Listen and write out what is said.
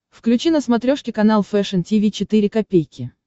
включи на смотрешке канал фэшн ти ви четыре ка